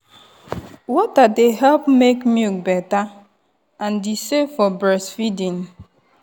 water dey help make milk better and e safe for breastfeeding.